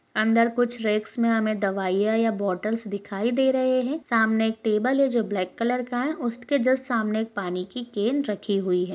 अंदर कुछ रेक्स में हमें दवाइयां या बॉटल्स दिखाई दे रहे हैं सामने एक टेबल है जो ब्लैक कलर का है उस ट्के जस्ट सामने पानी की केन रखी हुई है।